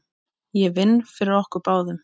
Ég vinn fyrir okkur báðum.